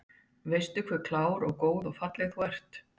Veistu ekki hve klár og góð og falleg þú ert?